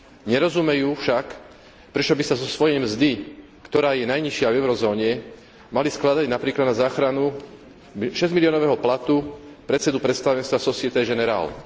Nerozumejú však, prečo by sa zo svojej mzdy, ktorá je najnižšia v eurozóne, mali skladať napríklad na záchranu šesťmiliónového platu predsedu predstavenstva Société Générale.